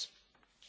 world.